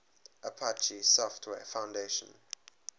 apache software foundation